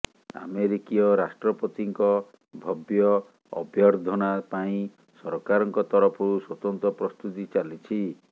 ଆମେରିକୀୟ ରାଷ୍ଟ୍ରପତିଙ୍କ ଭବ୍ୟ ଅଭ୍ୟର୍ଦ୍ଧନା ପାଇଁ ସରକାରଙ୍କ ତରଫରୁ ସ୍ୱତନ୍ତ୍ର ପ୍ରସ୍ତୁତି ଚାଲିଛି